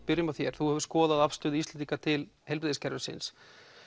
byrjum á þér þú hefur skoðað afstöðu Íslendinga til heilbrigðiskerfisins